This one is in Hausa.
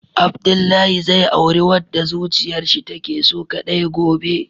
Abdullahi zai auri wadda zuciyarshi take so kadai gobe.